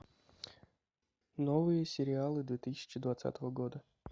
новые сериалы две тысячи двадцатого года